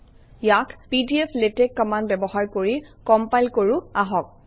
ইয়াক pdflatex command ব্যৱহাৰ কৰি কমপাইল কৰোঁ আহক